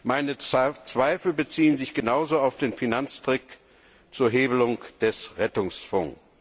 Meine Zweifel beziehen sich genauso auf den Finanztrick zur Hebelung des Rettungsfonds.